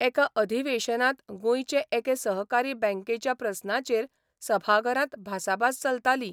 एका अधिवेशनांत गोंयचे एके सहकारी बँकेच्या प्रस्नाचेर सभाघरांत भासाभास चलताली.